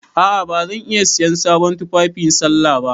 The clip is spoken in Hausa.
A'a ba zan iya siyan sabon tufafi sallah ba.